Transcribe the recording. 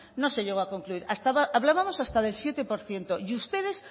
no se llegó a concluir hablábamos hasta de siete por ciento y ustedes